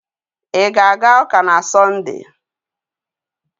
Ị ga-aga ụka na Sọnde?